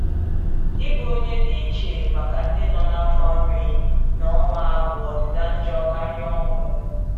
Ịbụ onye dị iche maka ndị nọ n’afọ iri na ụma bụ ọdịda njọ karịa ọnwụ.